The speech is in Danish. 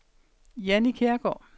Jannie Kjærgaard